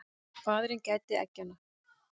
Faðirinn gætir eggjanna.